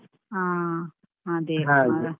ಹಾ ಅದೆ.